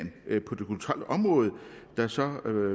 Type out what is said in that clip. på det kulturelle område der så